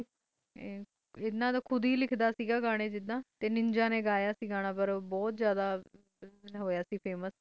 ਤੇ ਆਪ ਕੂੜ ਗਾਣਾ ਲਿਖਦਾ ਸੇ ਤੇ ਨਿੰਜਾ ਨੇ ਗਯਾ ਸੇ ਗਾਣਾ ਉਹ ਬੋਤਹ ਤੇ ਉਹ ਬੋਥ ਫ਼ਾਮੁਸੇ ਹੋਇਆ ਸੇ